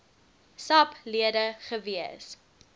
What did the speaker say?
sap lede gewees